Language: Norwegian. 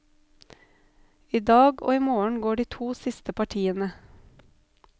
I dag og i morgen går de to siste partiene.